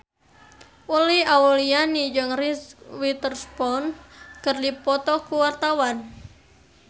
Uli Auliani jeung Reese Witherspoon keur dipoto ku wartawan